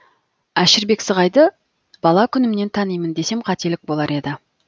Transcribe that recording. әшірбек сығайды бала күнімнен танимын десем қателік болар еді